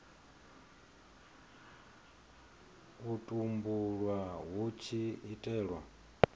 u tumbulwa hu tshi itelwa